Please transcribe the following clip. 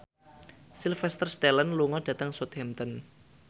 Sylvester Stallone lunga dhateng Southampton